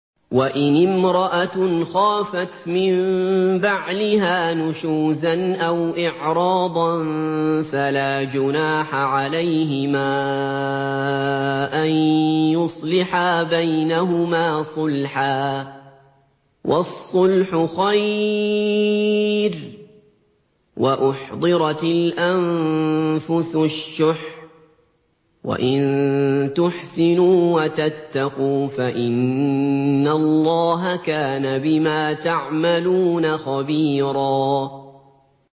وَإِنِ امْرَأَةٌ خَافَتْ مِن بَعْلِهَا نُشُوزًا أَوْ إِعْرَاضًا فَلَا جُنَاحَ عَلَيْهِمَا أَن يُصْلِحَا بَيْنَهُمَا صُلْحًا ۚ وَالصُّلْحُ خَيْرٌ ۗ وَأُحْضِرَتِ الْأَنفُسُ الشُّحَّ ۚ وَإِن تُحْسِنُوا وَتَتَّقُوا فَإِنَّ اللَّهَ كَانَ بِمَا تَعْمَلُونَ خَبِيرًا